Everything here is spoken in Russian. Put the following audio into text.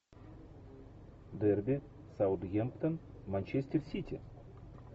дерби саутгемптон манчестер сити